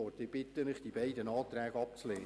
Ich bitte Sie, die beiden Anträge abzulehnen.